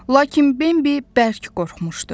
Lakin Bimbi bərk qorxmuşdu.